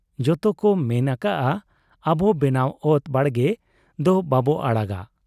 ᱡᱚᱛᱚ ᱠᱚ ᱢᱮᱱ ᱟᱠᱟᱜ ᱟ, ᱟᱵ ᱵᱮᱱᱟᱣ ᱚᱛ ᱵᱟᱲᱜᱮ ᱫᱚ ᱵᱟᱵᱚ ᱟᱲᱟᱜᱟ ᱾